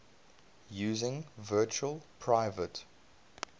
using virtual private